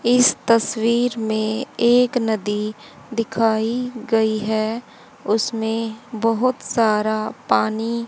इस तस्वीर में एक नदी दिखाई गई है उसमें बहोत सारा पानी--